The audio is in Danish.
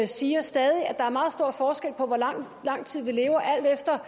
siger stadig at der er meget stor forskel på hvor lang lang tid vi lever alt efter